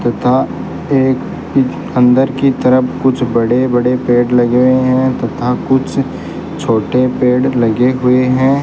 तथा एक इंच अंदर की तरफ कुछ बड़े बड़े पेड़ लगे हुए हैं तथा कुछ छोटे पेड़ लगे हुए हैं।